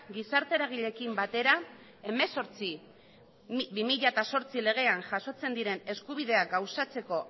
gizarte eragileekin batera hemezortzi barra bi mila zortzi legean jasotzen diren eskubideak gauzatzeko